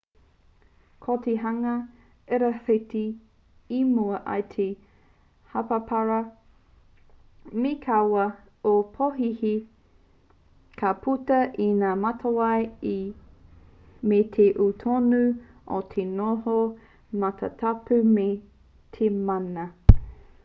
ko te hunga irawhiti i mua i te hāparapara me kaua e pōhēhē ka puta i ngā matawai me te ū tonu o te noho matatapu me te mana